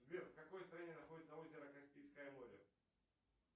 сбер в какой стране находится озеро каспийское море